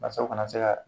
Wasa u kana se ka